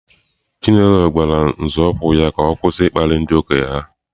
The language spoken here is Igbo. Chinelo gwara nzọụkwụ ya ka ọ kwụsị ịkparị ndị okenye ha.